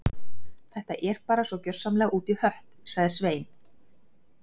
Þetta er bara svo gjörsamlega út í hött- sagði Svein